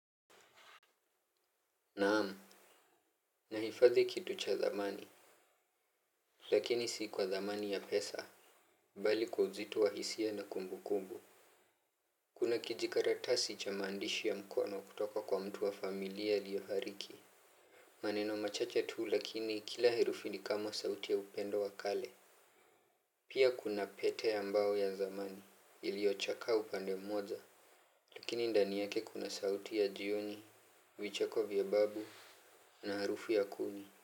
Naamu. Nahifadhi kitu cha thamani. Lakini sii kwa thamani ya pesa. Mbali kwa uzito wa hisia na kumbukumbu kuna kijikaratasi cha maandishi ya mkono kutoka kwa mtu wa familia aliyefariki. Maneno machache tu lakini kila herufi ni kama sauti ya upendo wa kale. Pia kuna pete ya mbao ya zamani iliochakaa upande mmoja. Lakini ndani yake kuna sauti ya jioni, vicheko vya babu na harufu ya kuni.